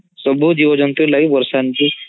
ସବୁ ଜୀବଜନ୍ତୁ ଲାଗି ବର୍ଷା ଏମିତି